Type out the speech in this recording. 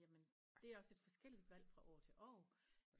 Jamen det er også lidt forskelligt valg fra år til år